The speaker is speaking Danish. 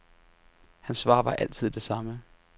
Hans svar var altid det samme.